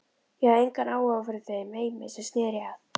Ég hafði engan áhuga fyrir þeim heimi sem sneri að